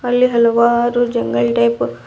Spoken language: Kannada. ಅಲ್ಲಿ ಹಲವಾರು ಜಂಗಲ್ ಟೈಪ್ --